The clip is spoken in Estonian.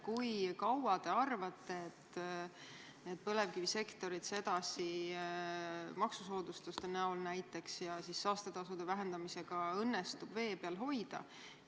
Kui kaua teie arvates õnnestub põlevkivisektorit sedasi maksusoodustuste abil ja saastetasude vähendamisega vee peal hoida?